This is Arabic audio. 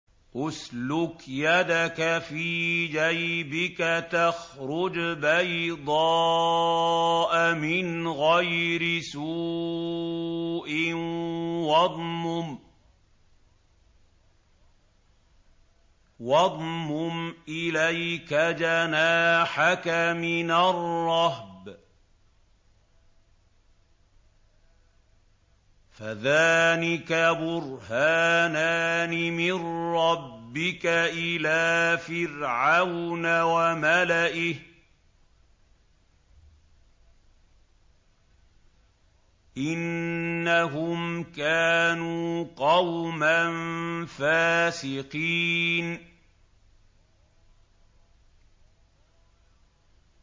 اسْلُكْ يَدَكَ فِي جَيْبِكَ تَخْرُجْ بَيْضَاءَ مِنْ غَيْرِ سُوءٍ وَاضْمُمْ إِلَيْكَ جَنَاحَكَ مِنَ الرَّهْبِ ۖ فَذَانِكَ بُرْهَانَانِ مِن رَّبِّكَ إِلَىٰ فِرْعَوْنَ وَمَلَئِهِ ۚ إِنَّهُمْ كَانُوا قَوْمًا فَاسِقِينَ